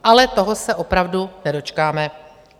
Ale toho se opravdu nedočkáme.